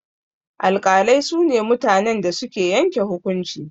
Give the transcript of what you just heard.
Alƙalai su ne mutanen da suke yanke hukunci.